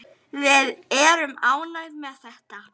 Við erum ánægð með þetta.